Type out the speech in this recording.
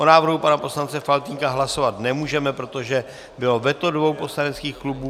O návrhu pana poslance Faltýnka hlasovat nemůžeme, protože bylo veto dvou poslaneckých klubů.